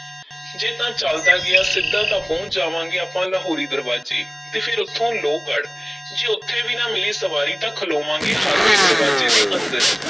ਜੇ ਤਾਂ ਚੱਲਦਾ ਗਿਆ ਸਿੱਧਾ ਤਾਂ ਪਹੁੰਚ ਜਾਵਾਂਗੇ ਆਪਾਂ ਲਾਹੌਰੀ ਦਰਵਾਜ਼ੇ, ਤੇ ਫੇਰ ਉੱਥੋਂ ਲੋਹਗੜ੍ਹ ਜੇ ਉੱਥੇ ਵੀ ਨਾ ਮਿਲੀ ਸਵਾਰੀ ਤਾਂ ਖਲੋਵਾਂਗੇ ਹਾਥੀ ਦਰਵਾਜ਼ੇ ਦੇ ਅੰਦਰ